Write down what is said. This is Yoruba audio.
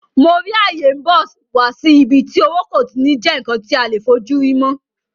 Mo rí ayé n bọ̀ wá sí ibi tí owó kò ti ní jẹ́ ǹkan tí a lè fojúrí mọ́